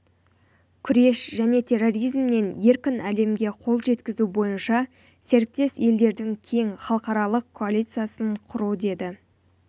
күрес және терроризмнен еркін әлемге қол жеткізу бойынша серіктес елдердің кең халықаралық коалициясын құру деді